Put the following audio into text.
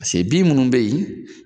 paceke bin minnu be ye